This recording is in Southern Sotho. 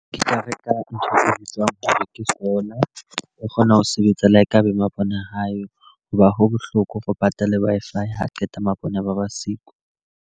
Ke tla reka ntho e bitswang hore ke solar. O kgona ho sebetsa le ha e ka ba mabone ha yo. Ho ba ha bohloko re patale Wi-Fi ha qeta mabone a ba ba siko.